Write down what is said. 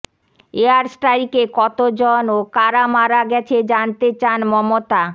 air স্ট্রাইকে কত জন ও কারা মারা গেছে জানতে চান মমতা